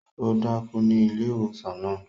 O dákú ní ilé ìwòsàn náà